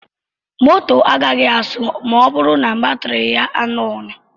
Moto agaghị asụ ma ọ bụrụ na batiri ya nyụọ.